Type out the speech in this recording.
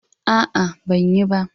A'a, ban yi ba.